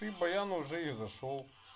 баян уже и зашёл